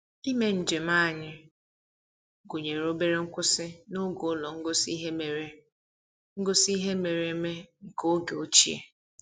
Ime njem anyị gụnyere obere nkwụsị n'ụlọ ngosi ihe mere ngosi ihe mere eme nke oge ochie